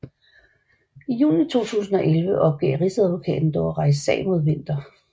I juni 2011 opgav Rigsadvokaten dog at rejse sag mod Winther